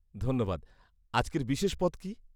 ধন্যবাদ। আজকের বিশেষ পদ কি?